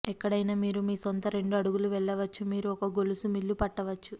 ఎక్కడైనా మీరు మీ సొంత రెండు అడుగుల వెళ్ళవచ్చు మీరు ఒక గొలుసు మిల్లు పట్టవచ్చు